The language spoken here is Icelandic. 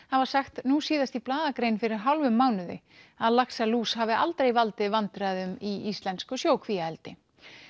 hafa sagt nú síðast í blaðagrein fyrir hálfum mánuði að laxalús hafi aldrei valdið vandræðum í íslensku sjókvíaeldi